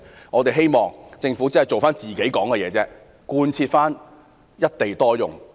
我們期望政府能真正兌現承諾，貫徹一地多用的政策。